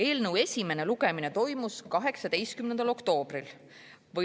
Eelnõu esimene lugemine toimus 18. oktoobril.